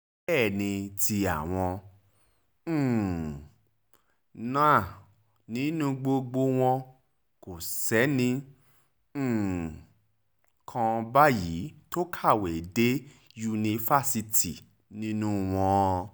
bẹ́ẹ̀ ni ti àwọn um náà nínú gbogbo wọn kò sẹ́nì um kan báyìí tó kàwé dé yunifásitì nínú wọn